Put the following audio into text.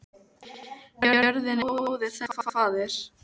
Jörðin er móðir þess og faðir.